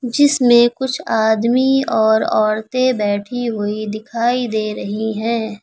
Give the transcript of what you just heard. जिसमे कुछ आदमी और औरतें बैठी हुई दिखाई दे रही है।